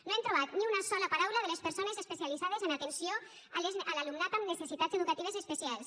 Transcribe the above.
no hem trobat ni una sola paraula de les persones especialitzades en atenció a l’alumnat amb necessitats educatives especials